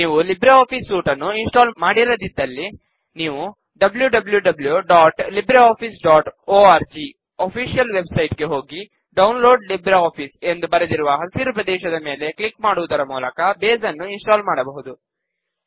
ನೀವು LibreOffice suite ನ್ನು install ಮಾಡಿರದಿದ್ದಲ್ಲಿ ನೀವು httpwwwlibreofficeorg ಆಫೀಶಿಯಲ್ ವೆಬ್ ಸೈಟ್ ಗೆ ಹೋಗಿ ಡೌನ್ಲೋಡ್ ಲಿಬ್ರಿಆಫಿಸ್ ಎಂದು ಬರೆದಿರುವ ಹಸಿರು ಪ್ರದೇಶದ ಮೇಲೆ ಕ್ಲಿಕ್ ಮಾಡುವುದರ ಮೂಲಕ ಬೇಸ್ ನ್ನು ಇನ್ ಸ್ಟಾಲ್ ಮಾಡಬಹುದು